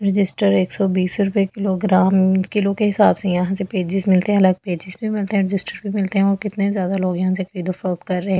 Register एक सौ बीस रुपए किलोग्राम किलो के हिसाब से यहां से पेजेस मिलते हैं अलग पेजेस भी मिलते हैं रजिस्टर भी मिलते हैं और कितने ज्यादा लोग यहां से कर रहे है।